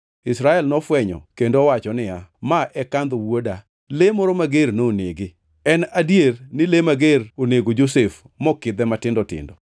Israel nofwenyo kendo owacho niya, “Ma en kandho wuoda! Le moro mager nonege. En adier ni le mager onego Josef mokidhe matindo tindo.”